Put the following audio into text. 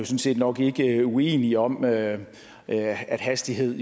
set nok ikke uenige om at at hastighed